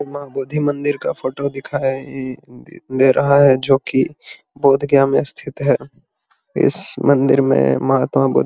उम्म बोधी मंदिर का फोटो दिखाई ईई दे रहा है जो की बोधगया में स्थित है इस मंदिर में महात्मा बुद्ध --